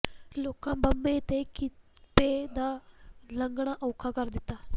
ਲੋਕਾਂ ਬੱਬੇ ਤੇ ਕੀਪੇ ਦਾ ਲੰਘਣਾ ਔਖਾ ਕਰ ਦਿੱਤਾ